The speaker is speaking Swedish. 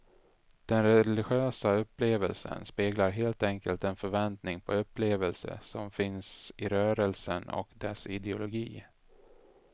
Den religiösa upplevelsen speglar helt enkelt den förväntning på upplevelse som finns i rörelsen och dess ideologi.